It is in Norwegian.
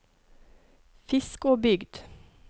Fiskåbygd